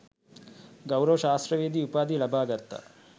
ගෞරව ශාස්ත්‍රවේදී උපාධිය ලබා ගත්තා.